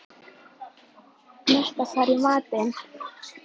Metta, hvað er í matinn?